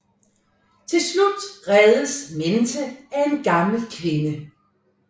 Til slut reddes Menthe af en gammel kvinde